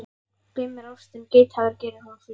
Grimm er ástin, geithafur gerir hún fríðan.